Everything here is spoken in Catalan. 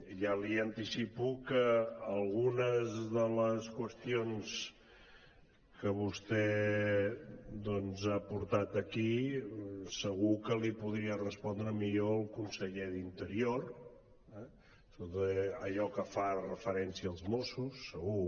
ja li anticipo que algunes de les qüestions que vostè doncs ha portat aquí segur que les hi podria respondre millor el conseller d’interior eh sobretot allò que fa referència als mossos segur